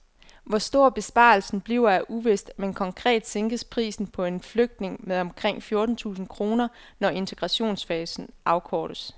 Hvor stor besparelsen bliver er uvist, men konkret sænkes prisen på en flygtning med omkring fjorten tusind kroner, når integrationsfasen afkortes.